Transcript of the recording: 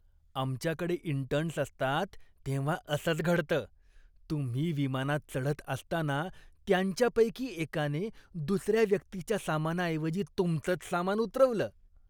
आमच्याकडे इंटर्न्स असतात तेव्हा असंच घडतं. तुम्ही विमानात चढत असताना त्यांच्यापैकी एकाने दुसऱ्या व्यक्तीच्या सामनाऐवजी तुमचंच सामान उतरवलं.